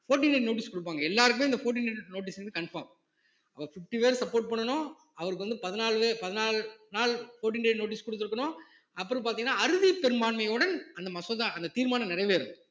fourteen day notice குடுப்பாங்க எல்லாருக்குமே இந்த fourteen day notice வந்து confirm அவர் fifty பேர் support பண்ணணும் அவருக்கு வந்து பதினாலு பே~ பதினாலு நாள் fourteen day notice குடுத்திருக்கணும் அப்புறம் பாத்தீங்கன்னா அறுதிப் பெரும்பான்மையுடன் அந்த மசோதா அந்த தீர்மானம் நிறைவேறும்